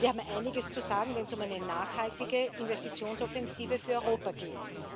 Wir haben einiges zu sagen, wenn es um eine nachhaltige Investitionsoffensive für Europa geht.